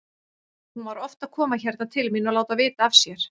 Hún var oft að koma hérna til mín og láta vita af sér.